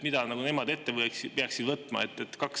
Mida nemad peaksid ette võtma?